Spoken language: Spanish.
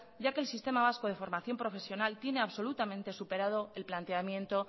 ya que el sistema vasco de formación profesional tiene absolutamente superado el planteamiento